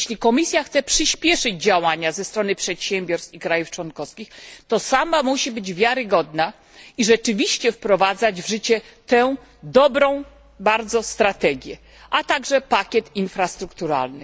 Jeśli Komisja chce przyśpieszyć działania ze strony przedsiębiorstw i państw członkowskich, to sama musi być wiarygodna i rzeczywiście wprowadzać w życie tę bardzo dobrą strategię, a także pakiet infrastrukturalny.